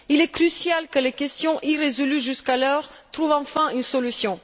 Il est crucial que les questions irrésolues jusqu'alors trouvent enfin une solution.